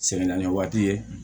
Sɛgɛn naani waati ye